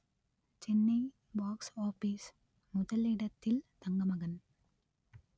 Chennai box office முதலிடத்தில் தங்கமகன்